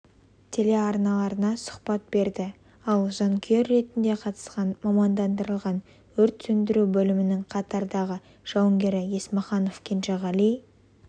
телеарналарына сұхбат берді ал жанкүйер ретінде қатысқан мамандандырылған өрт сөндіру бөлімінің қатардағы жауынгері есмаханов кенжеғали